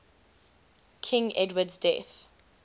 king edward's death